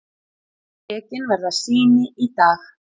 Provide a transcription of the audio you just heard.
Tekin verða sýni í dag.